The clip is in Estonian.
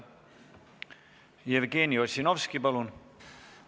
Jevgeni Ossinovski, palun!